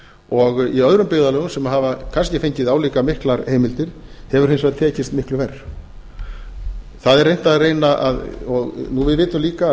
og í öðrum byggðarlögum sem hafa kannski fengið álíka miklar heimildir hefur hins vegar tekist miklu verr við vitum líka að